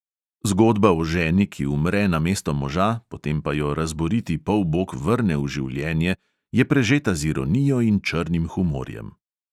Zgodba o ženi, ki umre namesto moža, potem pa jo razboriti polbog vrne v življenje, je prežeta z ironijo in črnim humorjem.